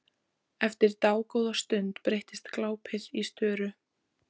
Eftir dágóða stund breytist glápið í störu.